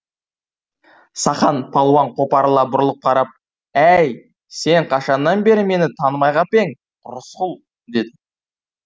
сақан палуан қопарыла бұрылып қарап әй сен қашаннан бері мені танымай қап ең рысқұл деді